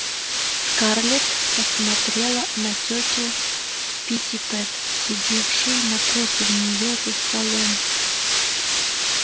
скарлетт посмотрела на тётю питтипэт сидевшую напротив нее за столом